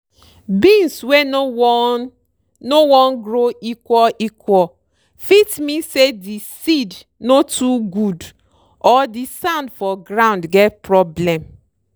beans wey no wan no wan grow equal equal fit mean say di seed no too good or di sand for ground get problem.